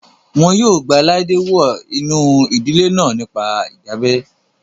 Wọn yóò gba Laide wọ inú ìdílé náà nípa ìdábẹ́